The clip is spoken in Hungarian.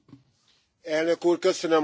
Elnök Úr, köszönöm a szót.